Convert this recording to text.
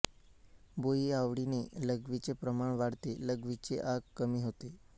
भुईआवळीने लघवीचे प्रमाण वाढते लघवीची आग कमी होते